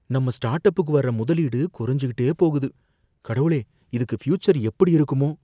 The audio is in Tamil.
நம்ம ஸ்டார்ட் அப்புக்கு வர்ற முதலீடு குறைஞ்சுகிட்டே போகுது. கடவுளே இதுக்கு ஃபியூச்சர் எப்படி இருக்குமோ